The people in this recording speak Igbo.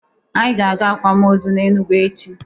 Anyị ga-aga akwam ozu na Enugwu echi.